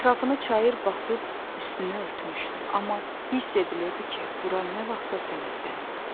Ətrafını çayır basıb üstünü örtmüşdü, amma hiss edilirdi ki, bura nə vaxtsa sementlənib.